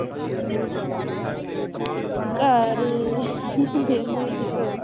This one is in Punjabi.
ਘਰ ਵੇਹਲੇ ਬਸ